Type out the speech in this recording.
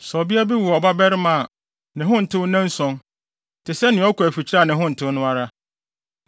‘Sɛ ɔbea bi wo ɔbabarima a, ne ho ntew nnanson, te sɛ nea ɔkɔ afikyiri a ne ho ntew no ara.